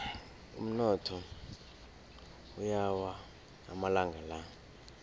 umnotho uyawa amalanga la